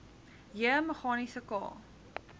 j meganiese k